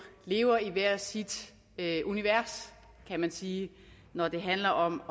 lever i hvert sit univers kan man sige når det handler om